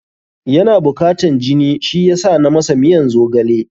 Yana bukatan jini, shi yasa na masa miyan zogale.